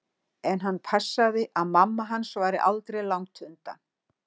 En hann passaði að mamma hans væri aldri langt undan.